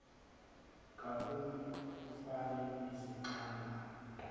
kukam ufan ezixhamla